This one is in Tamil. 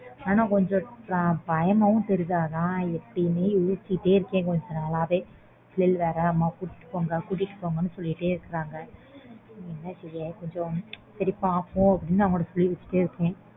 ஆனா கொஞ்சம் பயமாவும் தெரியுது ஆனா எப்பிடின்னு யோசிச்சிட்டே இருக்கன் பிள்ளைங்களை வேற அம்மா கூட்டிட்டு போங்க கூட்டிட்டு போங்கன்னு சொல்லிட்டே இருகாங்க என்ன செய்ய சேரி பாப்போம்